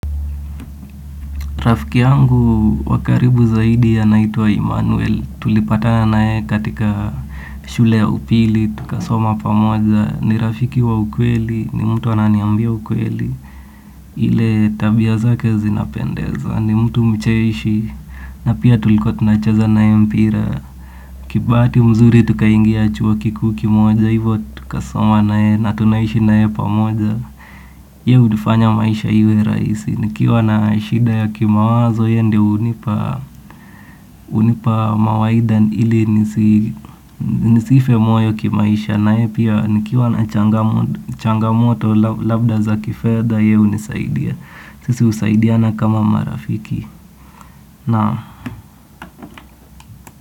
Rafiki yangu wa karibu zaidi anaitwa Immanuel, tulipatana na yeye katika shule ya upili, tukasoma pamoja, ni rafiki wa ukweli, ni mtu ananiambia ukweli, ile tabia zake zinapendeza ni mtu mcheshi na pia tulikuwa tunacheza na yeye mpira kibahati mzuri tukaingia chuo kikuu kimoja hivo tukasoma na yeye na tunaishi na yeye pamoja. Yeye hufanya maisha iwe rahisi. Nikiwa na shida ya kimawazo yeye ndio hunipa hunipa mawaidha ili nisife moyo kimaisha naye pia nikiwa na changamoto labda za kifedha yeye hunisaidia. Sisi husaidiana kama marafiki. Naam.